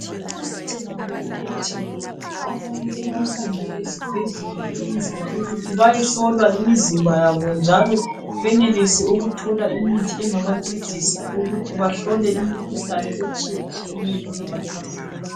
Kuqakathekile ukuthi abantu bahambe ezibhedlela bayehlolwa imizimba yabo njalo benelise ukuthola imithi engaba ncedisa ukuthi bamhlole imikhuhlane etshiyetshiyeneyo engabahlasela